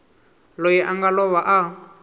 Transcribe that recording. loyi a nga lova a